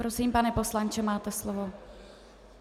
Prosím, pane poslanče, máte slovo.